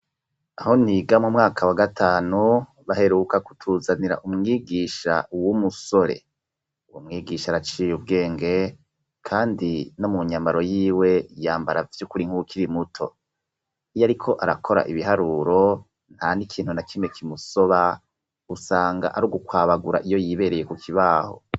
Aho niga mu mwaka wa gatanu baheruka kutuzanira umwigisha w'umusore. Uwo mwigisha araciye ubwenge kandi no mu nyambaro yiwe yambara vyukuri nkuko ari muto. Iyo ariko arakora ibiharuro nta n'ikintu na kimwe kimusoba, usanga ari gukwabagura iyo yibereye ku kibaho.